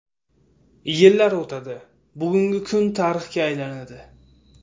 Yillar o‘tadi, bugungi kun tarixga aylanadi.